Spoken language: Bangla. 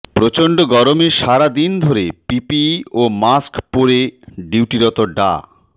প্রচণ্ড গরমে সারাদিন ধরে পিপিই ও মাস্ক পরে ডিউটিরত ডা